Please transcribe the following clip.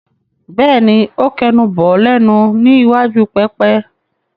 Bẹ́ẹ̀ni, ó kẹnu bọ̀ ọ́ lẹ́nu ní iwájú pẹpẹ.